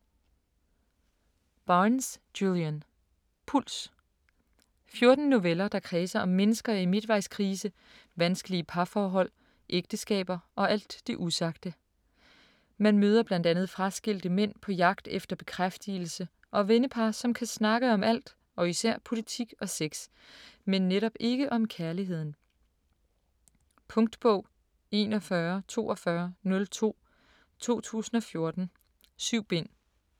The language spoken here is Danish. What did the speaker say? Barnes, Julian: Puls 14 noveller der kredser om mennesker i midtvejskrise, vanskelige parhold, ægteskaber og alt det usagte. Man møder bl.a. fraskilte mænd på jagt efter bekræftigelse og vennepar som kan snakke om alt og især politik og sex, men netop ikke om kærligheden. Punktbog 414202 2014. 7 bind.